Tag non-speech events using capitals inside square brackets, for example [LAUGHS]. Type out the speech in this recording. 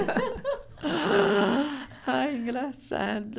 [LAUGHS] Ai, engraçado.